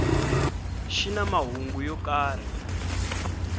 xi na mahungu yo karhi